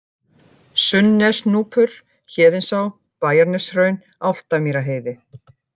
Sunnnesnúpur, Héðinsá, Bæjarneshraun, Álftamýrarheiði